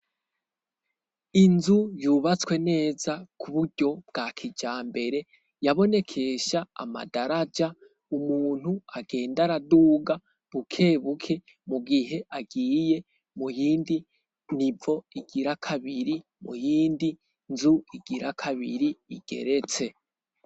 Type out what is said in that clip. inzu yubatswe neza ku buryo bwa kijambere, yabonekesha amadaraja umuntu agenda araduga bukebuke mu gihe agiye mu yindi nivo igira kabiri mu yindi nzu igira kabiri igeretse.